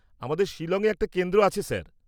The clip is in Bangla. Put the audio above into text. আমাদের শিলংয়ে একটা কেন্দ্র আছে স্যার।